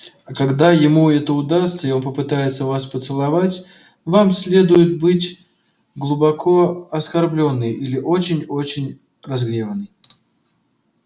а когда ему это удастся и он попытается вас поцеловать вам следует быть глубоко оскорблённой или очень очень разгневанной